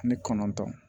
Ani kɔnɔntɔn